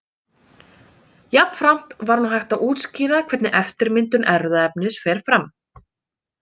Jafnframt var nú hægt að útskýra hvernig eftirmyndun erfðaefnis fer fram.